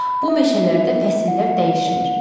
Bu meşələrdə fəsillər dəyişmir.